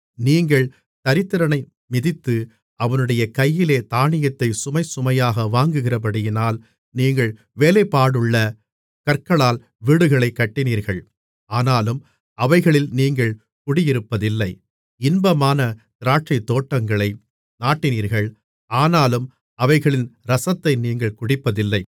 நீங்கள் தரித்திரனை மிதித்து அவனுடைய கையிலே தானியத்தைச் சுமைசுமையாக வாங்குகிறபடியினால் நீங்கள் வேலைப்பாடுள்ள கற்களால் வீடுகளைக் கட்டினீர்கள் ஆனாலும் அவைகளில் நீங்கள் குடியிருப்பதில்லை இன்பமான திராட்சைத்தோட்டங்களை நாட்டினீர்கள் ஆனாலும் அவைகளின் இரசத்தை நீங்கள் குடிப்பதில்லை